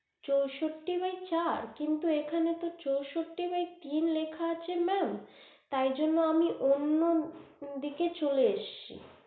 চোষট্টি bye চার কিন্তু এখানে তো চোষট্টি bye তিন লিখা আছে mam তাই জন্য আমি অন্য দিকে চলে এসছি